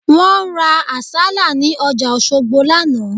Wọ́n ra àsálà ní ọjà Òṣogbo lánàá